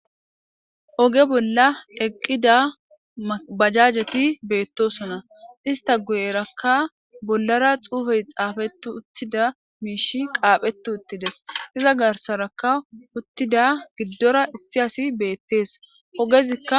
Oge bolla eqqida baajajeti bettosona ista guyerakka bollara xuufey xaafeti uttida miishshey qaaphetti uttides iza garssaraka uttida giddora issi asi bettees ogezikka